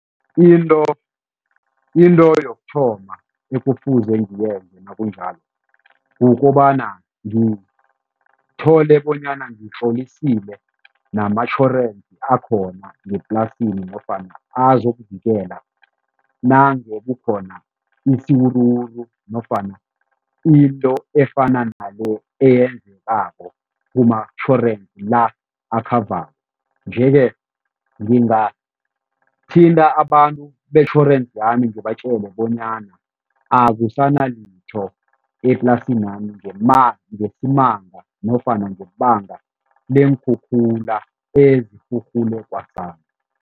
Into into yokuthoma ekufuze ngiyenze nakunjalo kukobana ngithole bonyana ngitlolisile namatjhorensi akhona weplasini nofana azokuvikela nange kukhona isiwuruwuru nofana into efana nale eyenzekako kumatjhorensi la , nje-ke ngingathinta abantu betjhorensi yami ngibatjele bonyana akusanalitho eplasini yami ngesibanga nofana ngebanga leenkhukhula ezirhurhule kwasani.